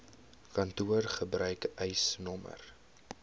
kantoor gebruik eisnr